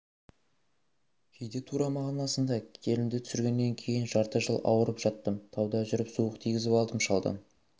кейде тура мағынасында келінді түсіргеннен кейін жарты жыл ауырып жаттым тауда жүріп суық тигізіп алдым шалдан